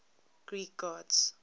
greek gods